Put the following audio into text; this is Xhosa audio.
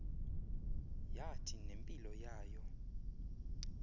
yathi nempilo yayo